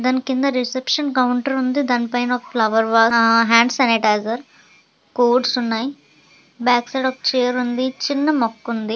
దాని కింద reception counter ఉంది. పైన ఫ్లవర్ వాస్ ఆ హ్యాండ్స్ శానిటైజర్ కోడ్స్ ఉన్నాయి. బ్యాక్ సైడ్ ఒక్క చైర్ ఉంది. చిన్న మొక్కుంది .